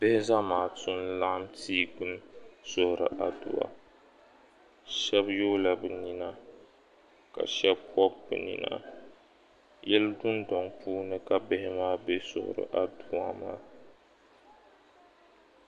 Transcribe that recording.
Zamaatu n laɣim tia gbuni n suhiri aduwa shɛba yoola bɛ nina ka shɛba bɔb'binina yili dunduŋ puuni ka bihi maa bɛ n suhiri adua maa